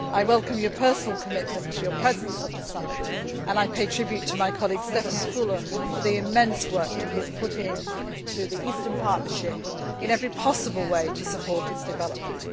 I welcome your personal commitment, your presence at the summit, and I pay tribute to my colleague, Štefan Füle for the immense work that he has put into the Eastern Partnership in every possible way to support its development.